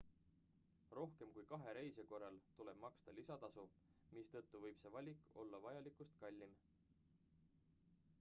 rohkem kui 2 reisija korral tuleb maksta lisatasu mistõttu võib see valik olla vajalikust kallim